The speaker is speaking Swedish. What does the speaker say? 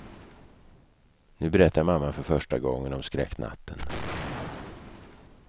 Nu berättar mamman för första gången om skräcknatten.